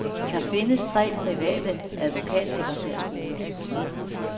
Der findes tre private advokatsekretærskoler.